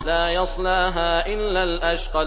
لَا يَصْلَاهَا إِلَّا الْأَشْقَى